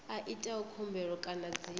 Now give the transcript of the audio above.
a itaho khumbelo kana dzina